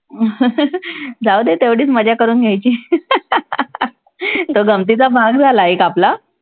जाऊदे तेवढीच मजा करून घ्यायची. तो गमतीचा भाग झाला एक आपला.